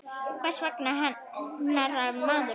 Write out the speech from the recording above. Hvers vegna hnerrar maður?